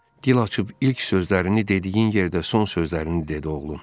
Dil açıb ilk sözlərini dediyin yerdə son sözlərini dedi oğlum.